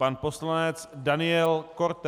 Pan poslanec Daniel Korte.